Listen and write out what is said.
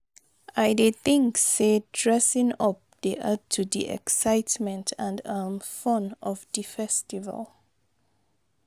I dey think say dressing up dey add to di excitement and um fun of di festival.